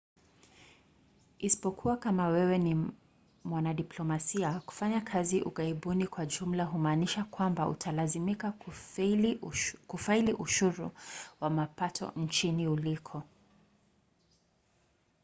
isipokuwa kama wewe ni mwanadiplomasia kufanya kazi ughaibuni kwa jumla humaanisha kwamba utalazimika kufaili ushuru wa mapato nchini uliko